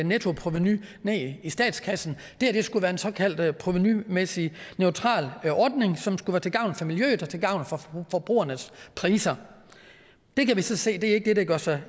nettoprovenu i statskassen det her skulle være en såkaldt provenumæssig neutral ordning som skulle være til gavn for miljøet og til gavn for forbrugernes priser det kan vi så se ikke gør sig